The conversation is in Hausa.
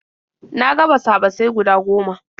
Na ga basa-basai guda goma.